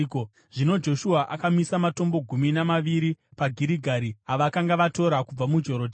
Zvino Joshua akamisa matombo gumi namaviri paGirigari avakanga vatora kubva muJorodhani.